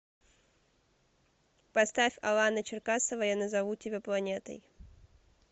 поставь алана черкасова я назову тебя планетой